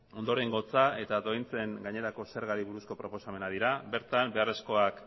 ondorengotza eta doaintzen gainerako zergari buruzko proposamenak dira bertan beharrezkoak